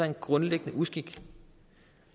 en grundlæggende uskik